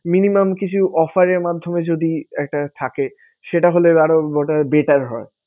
Minimum কিছু offer এর মাধ্যমে যদি একটা থাকে সেটা হলে আরো বোধ হয় better হয়।